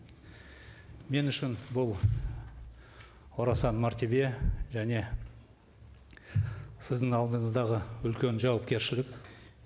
мен үшін бұл орасан мәртебе және сіздің алдыңыздағы үлкен жауапкершілік